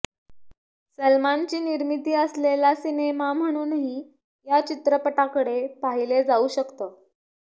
सलमानची निर्मिती असलेला सिनेमा म्हणूनही या चित्रपटाकडे पाहिलं जाऊ शकतं